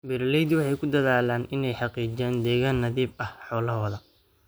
Beeraleydu waxay ku dadaalaan inay xaqiijiyaan deegaan nadiif ah xoolahooda.